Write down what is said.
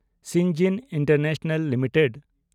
ᱥᱤᱱᱡᱤᱱ international limited